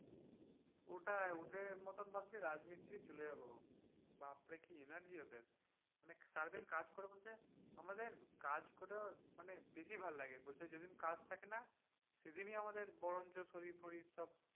ওটাই ওদের মতোন ভাবছি রাজমিস্ত্রি চলে যাব বাপরে কি energy ওদের মানে সারাদিন কাজ করে বলছে আমাদের কাজ করে মানে বেশি ভালো লাগে, বলছে যেদিন কাজ থাকে না সেদিনই সেদিনই বরঞ্চ আমাদের শরীর ফরির সব,